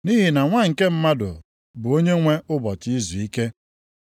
Nʼihi na Nwa nke Mmadụ bụ Onyenwe ụbọchị izuike.”